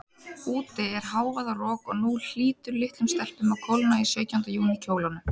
Úti er hávaðarok, og nú hlýtur litlum stelpum að kólna í sautjánda júní kjólunum.